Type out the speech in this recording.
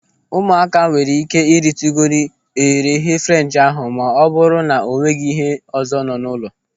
Ụmụaka nwere ike ritugodu eghereeghe French ahụ ma ọ bụrụ na o nweghị ihe ọzọ nọ n'ụlọ.